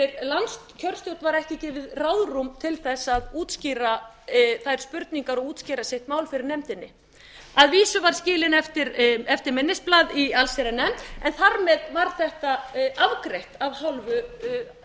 var ekki gefið ráðrúm til þess að útskýra þær spurningar og útskýra sitt mál fyrir nefndinni að vísu var skilin eftir minnisblað í allsherjarnefnd en þar með var þetta afgreitt af hálfu